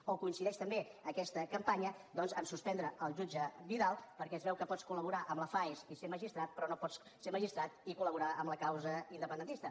o coincideix també aquesta campanya doncs a suspendre el jutge vidal perquè es veu que pots col·laborar amb la faes i ser magistrat però no pots ser magistrat i col·laborar amb la causa independentista